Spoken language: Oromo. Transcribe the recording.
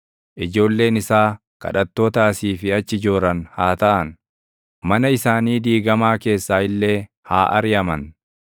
Ijoolleen isaa kadhattoota asii fi achi jooran haa taʼan; mana isaanii diigamaa keessaa illee haa ariʼaman.